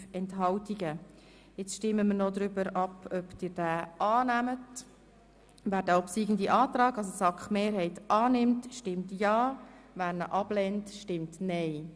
Nun stimmen wir noch darüber ab, ob wir den obsiegenden Antrag annehmen.